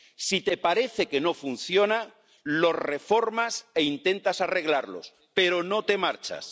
Si te parece que no funciona, los reformas e intentas arreglarlos, pero no te marchas.